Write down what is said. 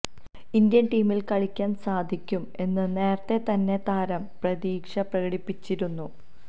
Indian ടീമിൽ കളിയ്ക്കാൻ സാധിയ്ക്കും എന്ന് നേരത്തെ തന്നെ താരം പ്രതീക്ഷ പ്രകടിപ്പിച്ചിരുന്നു